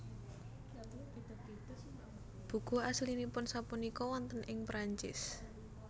Buku aslinipun sapunika wonten ing Perancis